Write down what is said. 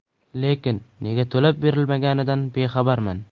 Lekin nega to‘lab berilmaganidan bexabarman.